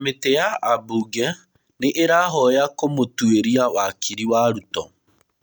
Kamĩtĩ ya ambunge nĩ ĩrahoya kũmũtwĩria wakiri wa Ruto.